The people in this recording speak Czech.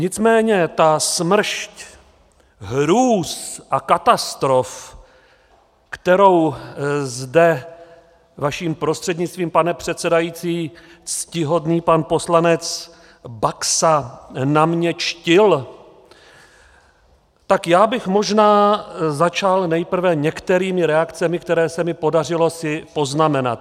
Nicméně ta smršť hrůz a katastrof, kterou zde vaším prostřednictvím, pane předsedající, ctihodný pan poslanec Baxa na mě dštil, tak já bych možná začal nejprve některými reakcemi, které se mi podařilo si poznamenat.